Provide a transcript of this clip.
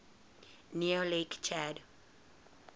near lake chad